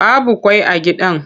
Babu ƙwai a gidan.